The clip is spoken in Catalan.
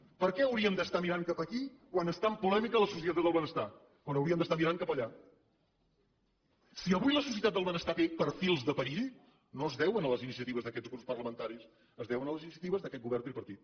per què hauríem d’estar mirant cap aquí quan està en polèmica la societat del benestar quan hauríem d’estar mirant cap allà si avui la societat del benestar té perfils de perill no es deu a les iniciatives d’aquests grups parlamentaris es deu a les iniciatives d’aquest govern tripartit